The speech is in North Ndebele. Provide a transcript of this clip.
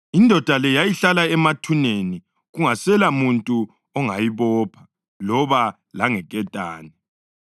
Indoda le yayihlala emathuneni, kungaselamuntu ongayibopha loba langeketane.